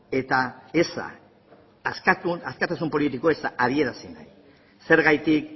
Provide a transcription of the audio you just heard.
eza adierazi nahi zergatik